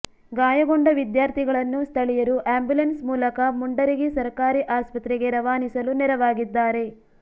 ಗಾಯಗೊಂಡ ವಿದ್ಯಾರ್ಥಿಗಳನ್ನು ಸ್ಥಳೀಯರು ಆಂಬುಲೆನ್ಸ್ ಮೂಲಕ ಮುಂಡರಗಿ ಸರ್ಕಾರಿ ಆಸ್ಪತ್ರೆಗೆ ರವಾನಿಸಲು ನೆರವಾಗಿದ್ದಾರೆ